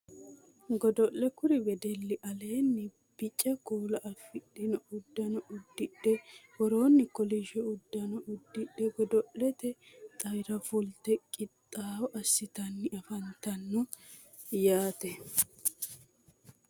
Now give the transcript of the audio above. Godo'le kuri wedelli aleenni bica kuula afidhino uddanoo uddidhe woroonni kolishsho uddano uddidhe godo'lete xawira fulte qixxaawo assitanni afantanno yaate